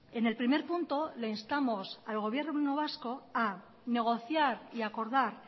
en el primer punto le instamos al gobierno vasco a negociar y acordar